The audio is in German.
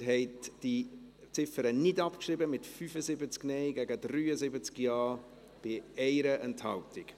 Sie haben diese Ziffer nicht abgeschrieben, mit 75 Nein- gegen 73 Ja-Stimmen, bei 1 Enthaltung.